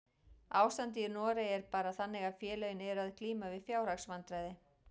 Ástandið í Noregi er bara þannig að félögin eru að glíma við fjárhagsvandræði.